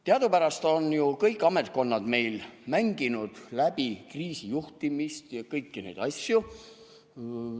Teadupärast on ju kõik ametkonnad meil mänginud läbi kriisijuhtimist ja kõiki neid asju.